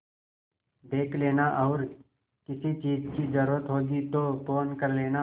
देख लेना और किसी चीज की जरूरत होगी तो फ़ोन कर लेना